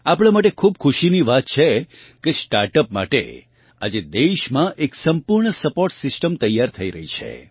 આપણાં માટે ખૂબ ખુશીની વાત છે કે સ્ટાર્ટઅપ માટે આજે દેશમાં એક સંપૂર્ણ સપોર્ટ સિસ્ટમ તૈયાર થઇ રહી છે